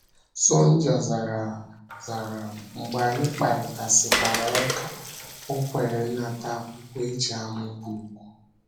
Sonja zara, zara, mgbe anyị kparịtasịkwara ụka, o kweere ịnata akwụkwọ e ji amụ book.